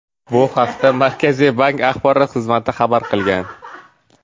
Bu haqda Markaziy bank axborot xizmati xabar qilgan .